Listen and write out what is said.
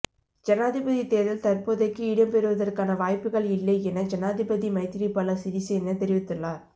ஜனாதிபதி தேர்தல் தற்போதைக்கு இடம்பெறுவதற்கான வாய்ப்புகள் இல்லை என ஜனாதிபதி மைத்திரிபால சிறிசேன தெரிவித்துள்ளார்